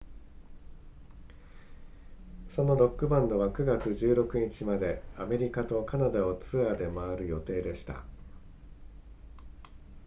そのロックバンドは9月16日までアメリカとカナダをツアーで回る予定でした